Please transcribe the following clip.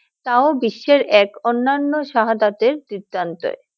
তাও বিশ্বের এক অন্যান্য শাহাদাতের ।